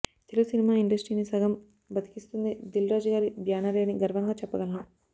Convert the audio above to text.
Telugu cinema ఇండస్ట్రీని సగం బ్రతికిస్తుంది దిల్ రాజుగారి బ్యానరే అని గర్వంగా చెప్పగలను